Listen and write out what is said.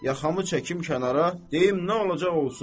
Yaxamı çəkim kənara, deyim nə olacaq olsun.